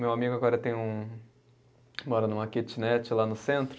Meu amigo agora tem um, mora numa kitnet lá no centro.